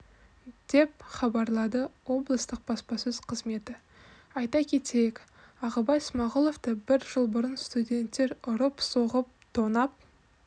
деп хабарлады облыстық баспасөз қызметі айта кетейік ағыбай смағұловты бір жыл бұрын студенттер ұрып-соғып тонап